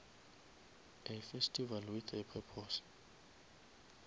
a festival with a purpose